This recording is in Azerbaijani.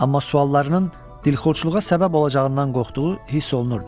Amma suallarının dilxorçuluğa səbəb olacağından qorxduğu hiss olunurdu.